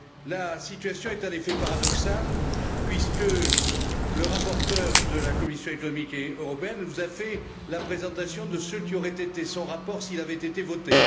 La situation est en effet paradoxale, puisque le rapporteur de la commission économique et monétaire vous a fait la présentation de ce qui aurait été son rapport s'il avait été voté.